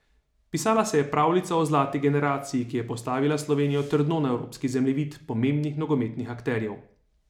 Pisala se je pravljica o zlati generaciji, ki je postavila Slovenijo trdno na evropski zemljevid pomembnih nogometnih akterjev.